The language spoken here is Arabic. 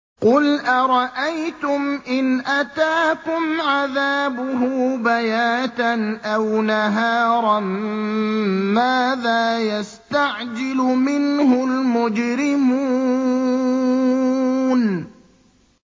قُلْ أَرَأَيْتُمْ إِنْ أَتَاكُمْ عَذَابُهُ بَيَاتًا أَوْ نَهَارًا مَّاذَا يَسْتَعْجِلُ مِنْهُ الْمُجْرِمُونَ